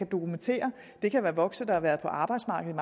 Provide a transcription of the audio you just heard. dokumentation det kan være voksne der har været på arbejdsmarkedet